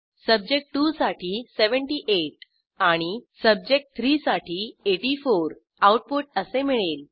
सब्जेक्ट2 साठी 78 आणि सब्जेक्ट3 साठी 84 आऊटपुट असे मिळेल